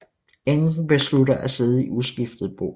Enken beslutter at sidde i uskiftet bo